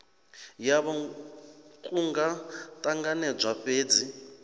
yavho ku nga ṱanganedzwa fhedzi